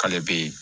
K'ale bɛ